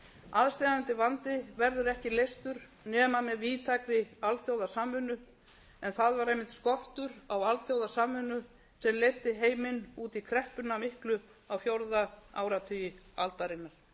aðsteðjandi vandi verður ekki leystur nema með víðtækri alþjóðasamvinnu en það var einmitt skortur á alþjóðasamvinnu sem leiddi heiminn út í kreppuna miklu á fjórða áratugi aldarinnar